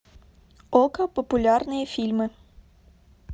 окко популярные фильмы